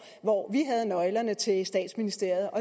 hvor vi havde nøglerne til statsministeriet